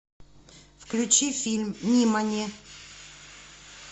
включи фильм нимани